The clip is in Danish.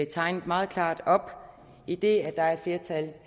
tegnet meget klart op idet der er et flertal